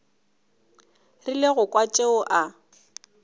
rile go kwa tšeo a